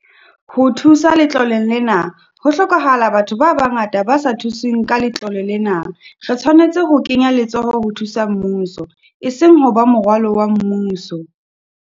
Ho thusa letloleng lena, ho hlokahala batho ba bangata ba sa thusweng ka letlole lena - re tshwanetse ho kenya letsoho ho thusa mmuso, eseng ho ba morwalo wa mmuso.